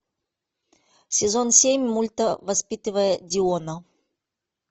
сезон семь мульта воспитывая диона